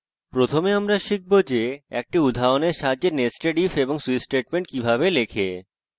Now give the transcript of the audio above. প্রথমে আমরা শিখব যে একটি উদাহরণের সাথে nested if এবং switch statements কিভাবে লেখে